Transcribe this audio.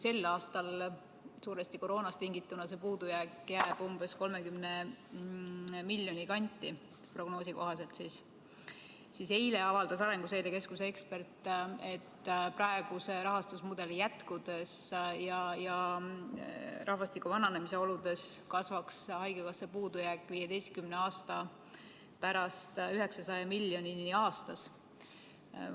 Sel aastal jääb suuresti koroonast tingituna see puudujääk prognoosi kohaselt umbes 30 miljoni euro kanti, ent eile avaldas Arenguseire Keskuse ekspert, et praeguse rahastamismudeli jätkudes ja rahvastiku vananedes kasvab haigekassa puudujääk 15 aasta pärast 900 miljoni euroni aastas.